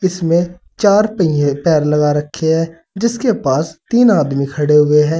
इसमे चार पहिए पैर लगा रखे है जिसके पास तीन आदमी खड़े हुए हैं।